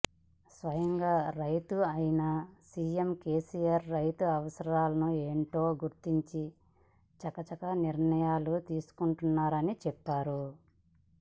స్వయంగా రైతు అయిన సీఎం కేసీఆర్ రైతుల అవసరాలు ఏమిటో గుర్తించి చక చకా నిర్ణయాలు తీసుకుంటున్నారని చెప్పారు